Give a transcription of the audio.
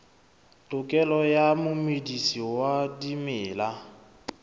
tokelo ya momedisi wa dimela